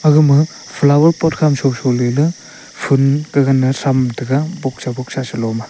aga ma flower port khama sho sho ley le fool ge gane som tega boksa boksa selo ma.